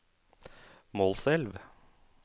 Målselv